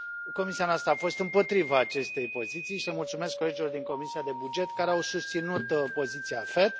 Comisia noastră a fost împotriva acestei poziții și le mulțumesc colegilor din Comisia pentru bugete care au susținut poziția AFET.